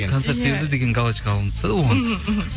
концерт берді деген галочка алынды да оған мхм мхм